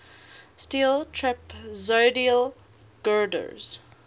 steel trapezoidal girders